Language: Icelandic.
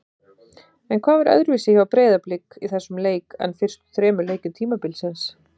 En hvað var öðruvísi hjá Breiðablik í þessum leik en fyrstu þremur leikjum tímabilsins?